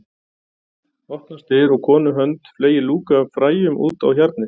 Opnast dyr og konu hönd fleygir lúku af fræjum út á hjarnið